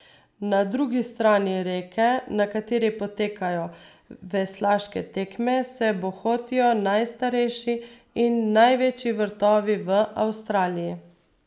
Na drugi strani reke, na kateri potekajo veslaške tekme, se bohotijo najstarejši in največji vrtovi v Avstraliji.